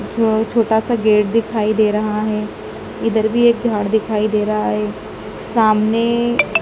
जो छोटासा गेट दिखाई दे रहा हैं इधर भी एक झाड़ दिखाई दे रहा हैं सामने--